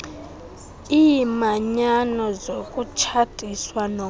iimanyano zokutshatiswa nomnye